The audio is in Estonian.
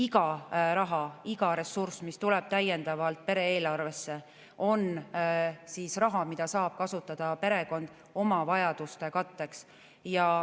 Iga raha, iga ressurss, mis tuleb täiendavalt pere-eelarvesse, on raha, mida perekond saab kasutada oma vajaduste katteks.